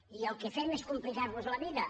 i el que fem és complicar los la vida